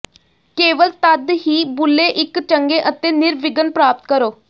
ਕੇਵਲ ਤਦ ਹੀ ਬੁੱਲੇ ਇੱਕ ਚੰਗੇ ਅਤੇ ਨਿਰਵਿਘਨ ਪ੍ਰਾਪਤ ਕਰੋ